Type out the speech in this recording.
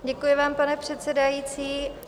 Děkuji vám, pane předsedající.